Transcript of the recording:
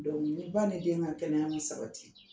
ni ba ni den ka kɛnɛya sabati